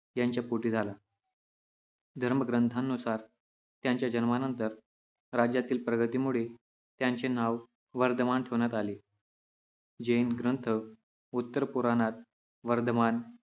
यांच्या पोटी झाला. धर्मग्रंथानुसार त्यांच्या जन्मानंतर राज्यातील प्रगतीमुळे त्यांचे नाव वर्धमान ठेवण्यात आले. जैन ग्रंथ उत्तर पुराणात वर्धमान,